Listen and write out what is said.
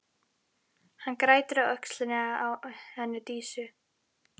Hann grætur á öxlinni á henni Dísu.